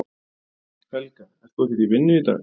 Helga: Ert þú ekkert í vinnu í dag?